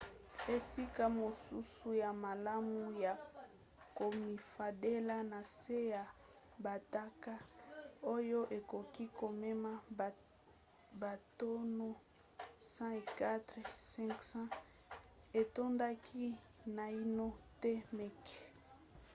esika mosusu ya malamu ya komifandela na se ya batanke oyo ekoki komema batono 104 500 etondaki naino te meke